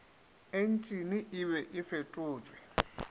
entšene e be e fetotšwe